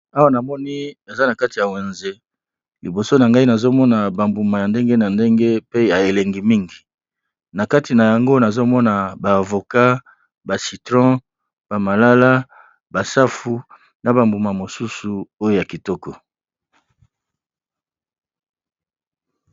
Awa namoni eza na kati ya wenze, liboso na ngai nazomona bambuma ya ndenge na ndenge , pe ya elengi mingi na kati na yango nazomona ba avokat ba citron ba malala, ba safu na bambuma mosusu oyo ya kitoko.